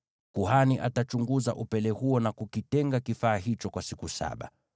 Kuhani atachunguza upele huo na kukitenga kifaa hicho kwa siku saba.